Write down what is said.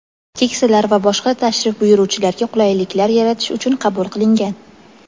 keksalar va boshqa tashrif buyuruvchilarga qulayliklar yaratish uchun qabul qilingan.